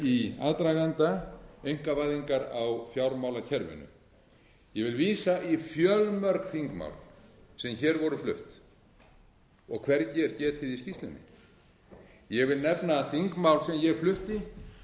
í aðdraganda einkavæðingar á fjármálakerfinu ég vil vísa í fjölmörg þingmál sem hér voru flutt og hvergi er getið í skýrslunni ég vil nefna þingmál sem ég flutti